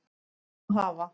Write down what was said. Nú hafa